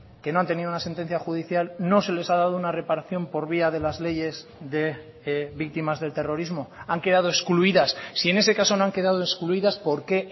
que no han tenido una sentencia judicial no se les ha dado una reparación por vía de las leyes de víctimas del terrorismo han quedado excluidas si en ese caso no han quedado excluidas por qué